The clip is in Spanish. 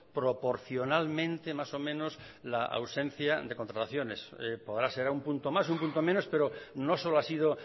proporcionalmente más o menos la ausencia de contrataciones podrá ser un punto más un punto menos pero no solo ha sido